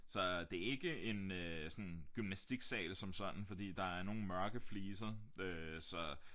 Så det ikke en øh sådan gymnastiksal som sådan fordi der er nogle mørke fliser øh så